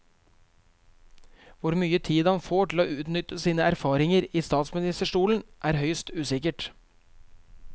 Hvor mye tid han får til å utnytte sine nye erfaringer i statsministerstolen, er høyst usikkert.